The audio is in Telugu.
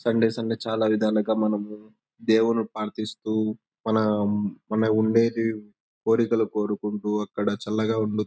సండే సండే చాల విధాలుగా మనం దేవుని ప్రదిస్తూ మనం ఉండేది కోరికలు కోరుకుంటూ అక్కడ చాల ఉండు--